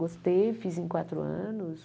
Gostei, fiz em quatro anos.